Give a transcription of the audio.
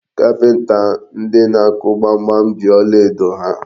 Kapịnta ndị na-akụ gbamgbam ji ọlaedo ha.